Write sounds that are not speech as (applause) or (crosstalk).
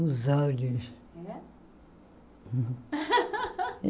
Os olhos. É Hum (laughs)